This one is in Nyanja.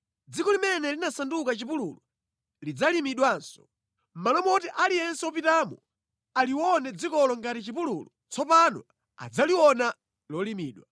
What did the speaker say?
Dziko limene linasanduka chipululu lizidzalimidwanso. Mʼmalo moti aliyense wopitamo alione dzikolo ngati chipululu tsopano adzaliona lolimidwa.